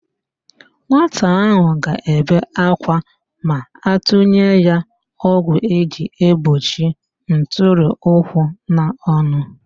Nwata ahụ ga-ebe akwa ma atụnye ya ọgwụ eji egbochi ntụrịụkwụ n'ọnụ